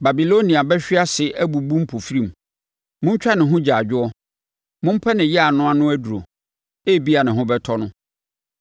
Babilonia bɛhwe ase abubu mpofirim. Montwa ne ho agyaadwoɔ! Mompɛ ne yea no ano aduro; ebia ne ho bɛtɔ no.